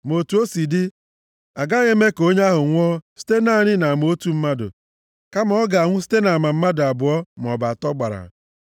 Ma otu o si dị, a gaghị eme ka onye ahụ nwụọ site naanị nʼama otu mmadụ, kama ọ ga-anwụ site nʼama mmadụ abụọ maọbụ atọ gbara.